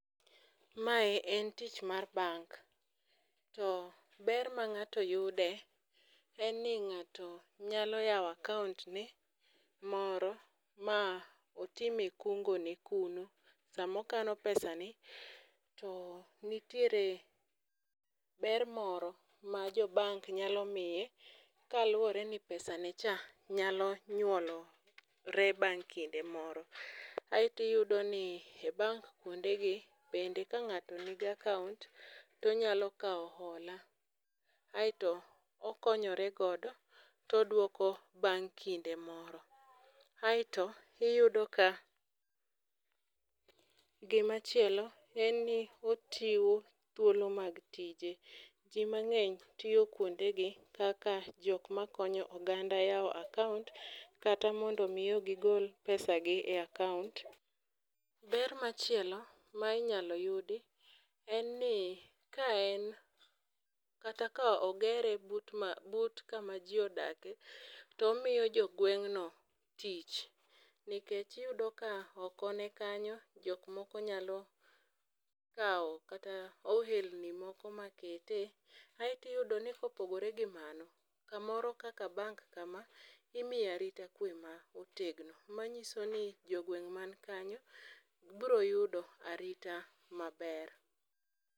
Mae en tich mar bank, to ber mang'ato yude en ni ng'ato nyalo yawo account ne moro ma otime kungo kuno. Samokano pesav ni to nitiere ber moro ma jo bank nyalo miye kaluwore ni pesa ne cha nyalo nyuolore bang' kinde moro. Aeti yudo ni e bank kuonde gi, bende ka ng'ato nigi account tonyalo kawo hola, aeto okonyore godo todwoko bang' kinde moro. Aeto iyudo ka gimachielo en ni ochiwo thuolo mag tije. Ji mang'eny tiyo kuonde gi kaka jokma konyo oganda yawo akaont kata mondo miyo gigol pesa gi e akaont. Ber machielo ma inyalo yudi en ni ka en kata ka ogere but ma but kama ji odake, tomiyo jogweng'no tich. Nikech iyudo ka oko ne kanyo jok moko nyalo kawo kata ohelni moko ma kete. Aetiyudo ni kopogore gi mano, kamoro kaka bank ka ma, imiyo arita kwe ma otegno. Manyiso ni jogweng' man kanyo bro yudo arita maber.